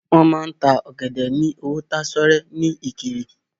Wọn máa n ta ọ̀gẹ̀dẹ̀ ní owó tásọ́rẹ́ ní ìkirè.